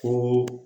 Furu